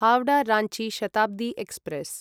Howrah Ranchi Shatabdi express